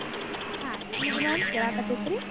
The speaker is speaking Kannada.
ಹಾ ಈಗ ma'am ಕೇಳಾಕತೆತ್ರಿ?